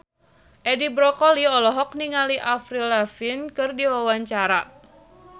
Edi Brokoli olohok ningali Avril Lavigne keur diwawancara